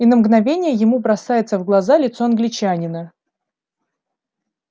и на мгновение ему бросается в глаза лицо англичанина